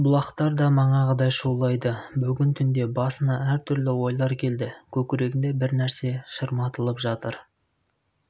бұлақтар да манағыдай шулайды бүгін түнде басына әр түрлі ойлар келді көкірегінде бір нәрсе шырматылып жатыр